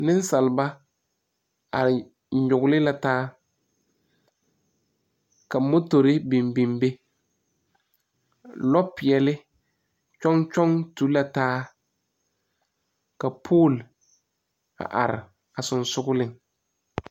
Nesaalba a nyuogle la taa. Ka motore biŋ biŋ be. Lɔ piɛle yoɔŋ yoɔŋ to la taa. Ka pol a are a susuŋleŋ